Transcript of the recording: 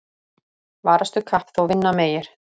Varastu kapp þó vinna megir.